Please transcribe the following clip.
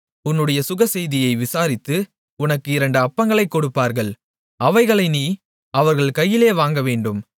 உன்னுடைய சுகசெய்தியை விசாரித்து உனக்கு இரண்டு அப்பங்களைக் கொடுப்பார்கள் அவைகளை நீ அவர்கள் கையிலே வாங்கவேண்டும்